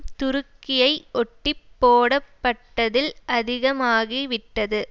துருக்கியை ஒட்டிப் போடப்பட்டதில் அதிகமாகி விட்டது